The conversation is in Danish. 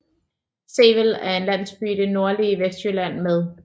Sevel er en landsby i det nordlige Vestjylland med